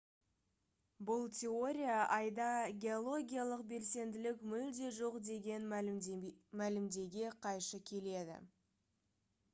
бұл теория айда геологиялық белсенділік мүлде жоқ деген мәлімдемеге қайшы келеді